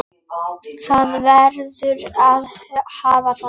Það verður að hafa það.